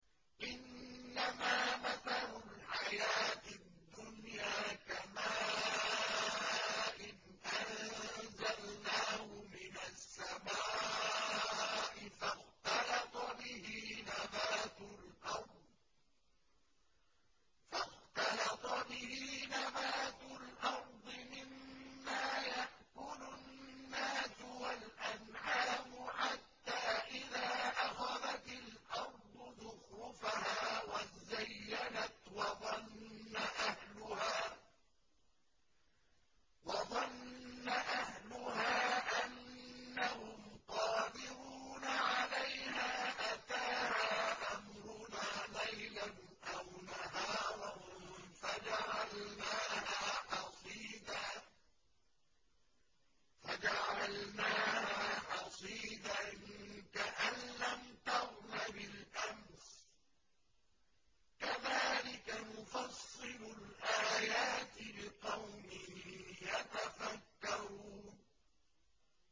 إِنَّمَا مَثَلُ الْحَيَاةِ الدُّنْيَا كَمَاءٍ أَنزَلْنَاهُ مِنَ السَّمَاءِ فَاخْتَلَطَ بِهِ نَبَاتُ الْأَرْضِ مِمَّا يَأْكُلُ النَّاسُ وَالْأَنْعَامُ حَتَّىٰ إِذَا أَخَذَتِ الْأَرْضُ زُخْرُفَهَا وَازَّيَّنَتْ وَظَنَّ أَهْلُهَا أَنَّهُمْ قَادِرُونَ عَلَيْهَا أَتَاهَا أَمْرُنَا لَيْلًا أَوْ نَهَارًا فَجَعَلْنَاهَا حَصِيدًا كَأَن لَّمْ تَغْنَ بِالْأَمْسِ ۚ كَذَٰلِكَ نُفَصِّلُ الْآيَاتِ لِقَوْمٍ يَتَفَكَّرُونَ